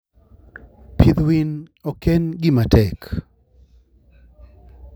Pidh winy ok en gima tek.